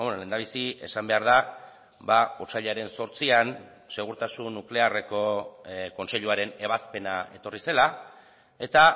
lehendabizi esan behar da otsailaren zortzian segurtasun nuklearreko kontseiluaren ebazpena etorri zela eta